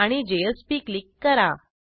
आणि JSP click करा